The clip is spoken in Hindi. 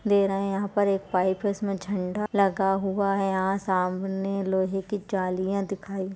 दे रहे है यहाँ पर एक पाइप है उसमें झण्डा लगा हुआ है यहाँ सामने लोहे की जलियां दिखाई-- ।